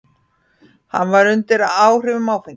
Hann var undir áhrifum áfengis.